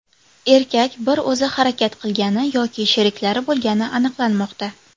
Erkak bir o‘zi harakat qilgani yoki sheriklari bo‘lgani aniqlanmoqda.